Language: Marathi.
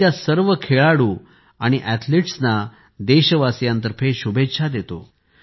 मी त्या सर्व खेळाडू आणि अॅथलिट्सना देशवासियांतर्फे शुभेच्छा देतो